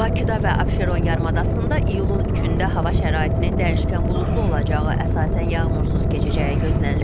Bakıda və Abşeron yarımadasında iyulun 3-də hava şəraitinin dəyişkən buludlu olacağı, əsasən yağmursuz keçəcəyi gözlənilir.